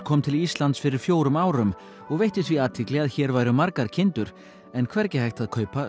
kom til Íslands fyrir fjórum árum og veitti því athygli að hér væru margar kindur en hvergi hægt að kaupa